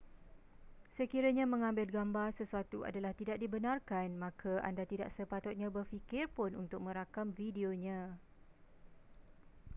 sekiranya mengambil gambar sesuatu adalah tidak dibenarkan maka anda tidak sepatutnya berfikir pun untuk merakam videonya